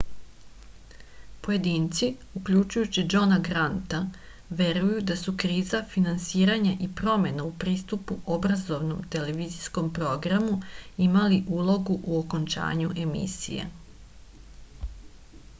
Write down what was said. pojedinci uključujući džona granta veruju da su kriza finansiranja i promena u pristupu obrazovnom televizijskom programu imali ulogu u okončanju emisije